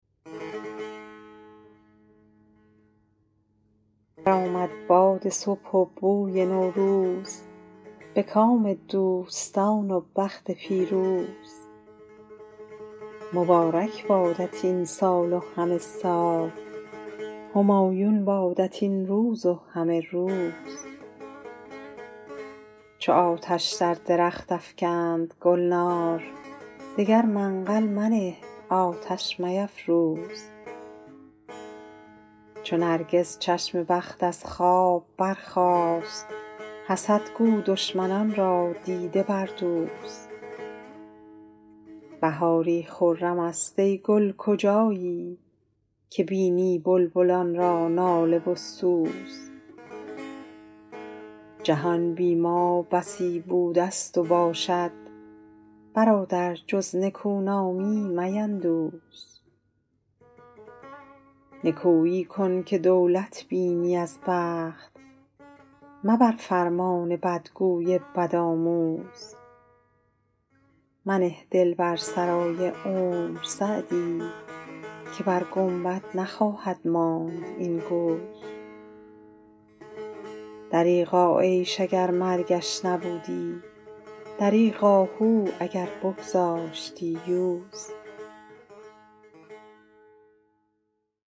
برآمد باد صبح و بوی نوروز به کام دوستان و بخت پیروز مبارک بادت این سال و همه سال همایون بادت این روز و همه روز چو آتش در درخت افکند گلنار دگر منقل منه آتش میفروز چو نرگس چشم بخت از خواب برخاست حسد گو دشمنان را دیده بردوز بهاری خرم است ای گل کجایی که بینی بلبلان را ناله و سوز جهان بی ما بسی بوده ست و باشد برادر جز نکونامی میندوز نکویی کن که دولت بینی از بخت مبر فرمان بدگوی بدآموز منه دل بر سرای عمر سعدی که بر گنبد نخواهد ماند این گوز دریغا عیش اگر مرگش نبودی دریغ آهو اگر بگذاشتی یوز